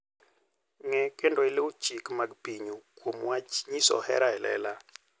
Ng'e kendo iluw chike mag pinyu kuom wach nyiso hera e lela.